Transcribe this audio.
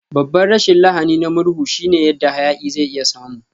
Babban rashin lahani na murhu shine yadda hayaki zai iya samu.